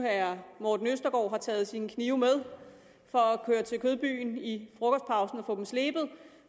at herre morten østergaard har taget sine knive med for at køre til kødbyen i frokostpausen og få dem slebet og